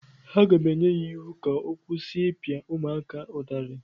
Aga m enye ya iwu ka ọ kwụsị ịpịa ụmụaka ụtarị!